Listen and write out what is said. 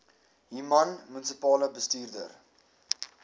human munisipale bestuurder